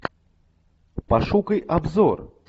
пошукай обзор